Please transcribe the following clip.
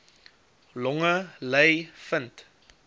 longe ly vind